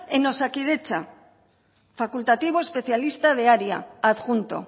en osakidetza facultativo especialista de área adjunto